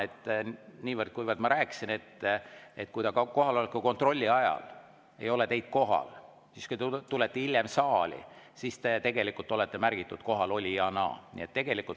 Ma niivõrd‑kuivõrd rääkisin, et kui teid kohaloleku kontrolli ajal ei ole kohal ja te tulete hiljem saali, siis te tegelikult olete märgitud kohalolijaks.